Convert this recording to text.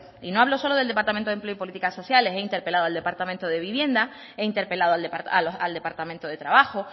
no hablo solo del departamento de empleo y políticas sociales he interpelado al departamento de vivienda he interpelado al departamento de trabajo